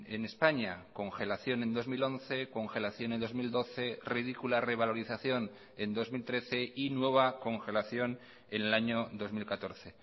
en españa congelación en dos mil once congelación en dos mil doce ridícula revalorización en dos mil trece y nueva congelación en el año dos mil catorce